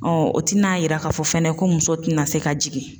o tina yira k'a fɔ fɛnɛ ko muso tina se ka jigin